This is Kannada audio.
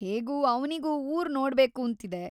ಹೇಗೂ ಅವ್ನಿಗೂ ಊರ್‌ ನೋಡ್ಬೇಕೂಂತಿದೆ.